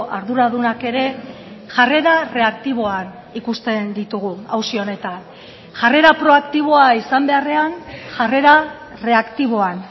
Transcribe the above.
arduradunak ere jarrera reaktiboan ikusten ditugu auzi honetan jarrera proaktiboa izan beharrean jarrera reaktiboan